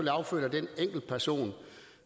er affødt af den enkeltperson